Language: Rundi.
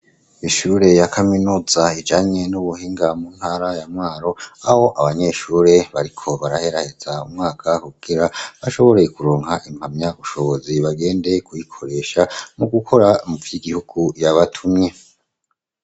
Ishure ya kaminuza ijanye n'ubuhinga mu ntara ya mwaro abo abanyeshure bariko baraheraheza umwaka kukira bashoboreye kuronka impamya bushobozi bagende kuyikoresha mu gukora mufiya igihugu yabatumye.